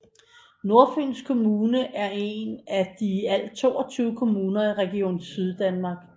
Nordfyns Kommune er en af i alt 22 kommuner i Region Syddanmark